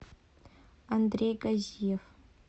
андрей газиев